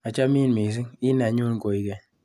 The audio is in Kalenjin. Achamin missing', i nenyun koingeny.